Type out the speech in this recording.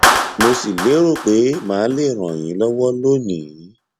mo sì lérò pé màá lè ràn yín lọwọ lónìí